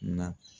Na